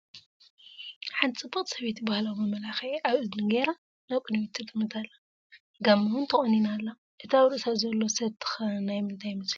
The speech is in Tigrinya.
ሓንቲ ፅብቕቲ ሰበይቲ ባህላዊ መመላኽዒ ኣብ እዝኒ ገይራ ናብ ቅድሚት ትጥምት ኣላ፡፡ ጋመ ውን ተቆኒና ኣላ፡፡ እቲ ኣብ ርእሳ ዘሎ ሰቲ ኸ ናይ ምንታይ ይመስለኩም?